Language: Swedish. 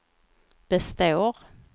består